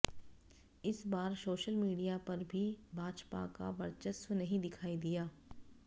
इस बार social media पर भी भाजपा का वर्चस्व नहीं दिखाई दिया